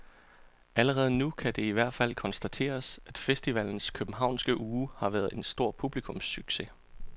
Allerede nu kan det i hvert fald konstateres, at festivalens københavnske uge har været en stor publikumssucces.